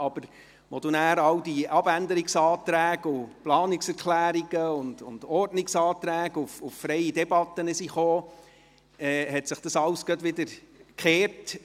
Als dann all diese Abänderungsanträge, Planungserklärungen und Ordnungsanträge auf freie Debatte eingingen, hat sich alles gleich wieder gewendet;